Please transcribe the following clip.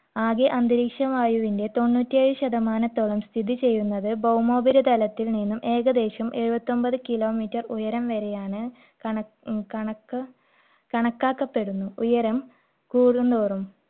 ആകെ അന്തരീക്ഷവായുവിന്റെ തൊണ്ണൂറ്റി ഏഴു ശതമാനത്തോളം സ്ഥിതിചെയ്യുന്നത് ഭൗമോപരിതലത്തിൽ നിന്നും ഏകദേശം എഴുപത്തൊൻപത് kilometer ഉയരം വരെയാണ് കണ~ ഉം കണക്കാക്കപ്പെടുന്നു. ഉയരം കൂടുന്തോറും